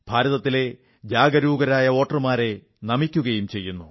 ഭാരതത്തിലെ ജാഗരൂകരായ വോട്ടർമാരെ നമിക്കയും ചെയ്യുന്നു